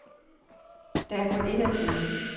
Der er kun et at sige.